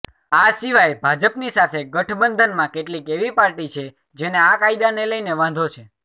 આ સિવાય ભાજપની સાથે ગઠબંધનમાં કેટલીક એવી પાર્ટી છે જેને આ કાયદાને લઈને વાંધો છે